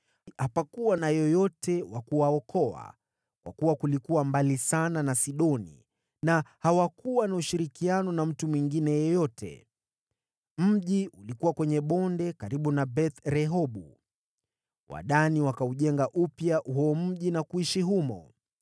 Hapakuwa na yeyote wa kuwaokoa, kwa kuwa kulikuwa mbali sana na Sidoni na hawakuwa na ushirikiano na mtu mwingine yeyote. Mji ulikuwa kwenye bonde karibu na Beth-Rehobu. Wadani wakaujenga upya huo mji na kuishi humo.